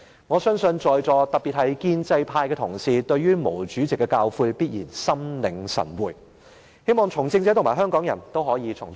"我相信在座各位，特別是建制派同事，對於毛主席的教誨必然心領神會，我也希望從政者和香港人可以從中得到體會。